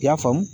I y'a faamu